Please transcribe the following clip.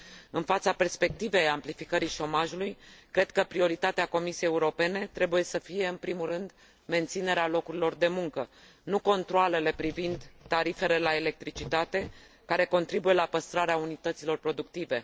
În fața perspectivei amplificării șomajului, cred că prioritatea Comisiei Europene trebuie să fie în primul rând menținerea locurilor de muncă, nu controalele privind tarifele la electricitate, care contribuie la păstrarea unităților productive.